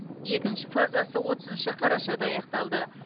екінші фазасы отызыншы қарашада аяқталды